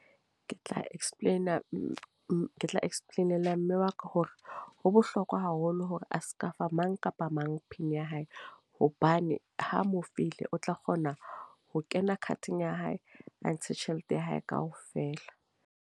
Ke tla explain, ke tla explain-ela mme wa ka. Hore ho bohlokwa haholo hore a seka fa mang kapa mang pin ya hae. Hobane ha mo file o tla kgona ho kena card-eng ya hae a ntshe tjhelete ya hae kaofela.